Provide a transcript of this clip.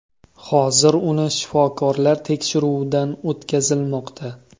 Hozir uni shifokorlar tekshiruvdan o‘tkazilmoqda.